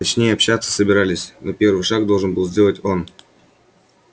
точнее общаться собирались но первый шаг должен был сделать он